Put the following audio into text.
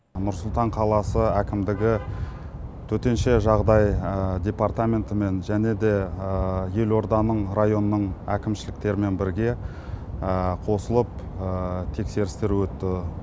нұр сұлтан қаласы әкімдігі төтенше жағдай департаментімен және де елорданың районның әкімшіліктерімен бірге қосылып тексерістер өтті